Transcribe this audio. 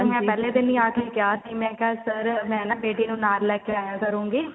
ਨੇ ਤਾਂ ਪਹਿਲੇ ਦਿਨ ਹੀ ਆਕੇ ਕਿਹਾ ਸੀ ਮੈਂ ਕਿਹਾ sir ਮੈਂ ਨਾ ਬੇਟੀ ਨੂੰ ਨਾਲ ਲੈਕੇ ਆਇਆ ਕਰੂੰਗੀ